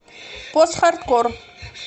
постхардкор